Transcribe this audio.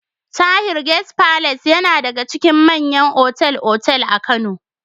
Tahir Guest Palace yana daga cikin manyan otal-otal a Kano.